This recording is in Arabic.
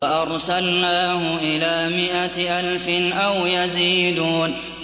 وَأَرْسَلْنَاهُ إِلَىٰ مِائَةِ أَلْفٍ أَوْ يَزِيدُونَ